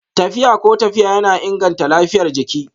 Tafiya ko tafiya yana inganta lafiyar jiki